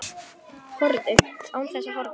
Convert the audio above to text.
Horfðu. án þess að horfa.